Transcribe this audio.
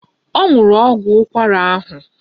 Ọ nwụrụ ọgwụ ụkwara ahụ